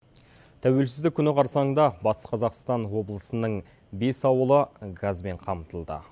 тәуелсіздік күні қарсаңында батыс қазақстан облысының бес ауылы газбен қамтылды